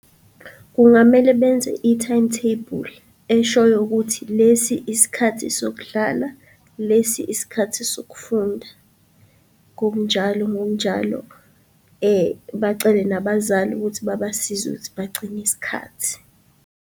Kungamele benze i-timetable eshoyo ukuthi lesi isikhathi sokudlala, lesi isikhathi sokufunda, ngokunjalo ngokunjalo. Bacele nabazali ukuthi babasize ukuthi bagcine isikhathi.